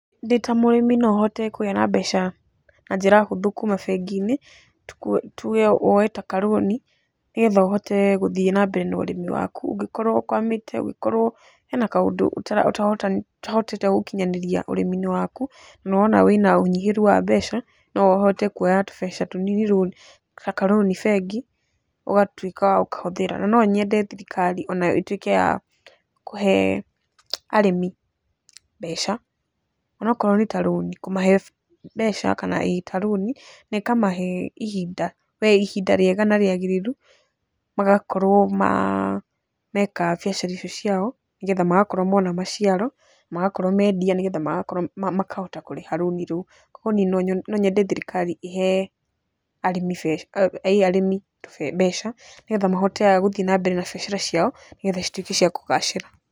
Ndĩ ta mũrĩmi no hote kũgĩa na mbeca na njĩra hũthũ kuma bengi-inĩ, tuge woe ta ka loan nĩgetha ũhote gũthiĩ na mbere na ũrĩmi waku. Ũngĩkorwo ũkwamĩte, ũngĩkorwo hena kaũndũ ũtahotete gũkinyanĩria ũrĩmi-inĩ waku na ũrona wĩna ũnyihĩru wa mbeca, no ũhote kuoya tũbeca tũnini ta ka loan bengi ũgatuĩka wa gũkahũthĩra. Na nonyende thirikari onayo ĩtuĩke ya kũhe arĩmi mbeca, onokorwo nĩ ta loan, kũmahe mbeca ĩĩ ta loan na ĩkamahe ihinda, we ihinda rĩega na rĩagĩrĩru magakorwo ma, meka biacara icio ciao nĩgetha magakorwo mona maciaro, magakorwo mendia nĩgetha makahota kũrĩha loan rũu. Koguo niĩ no nyende thirikari ĩhe arĩmi arĩmi mbeca, nĩgetha mahote a gũthiĩ na mbere na biacara ciao, nĩgetha cituĩke cia kũgacĩra.